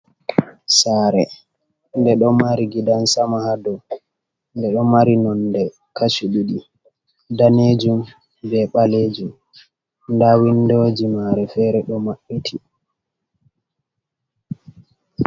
Sare nde ɗo mari gidan-sama haado, nde ɗo mari nonde kashi ɗiɗi(danejum be ɓalejum) nda windoji mare fere ɗo maɓɓiti.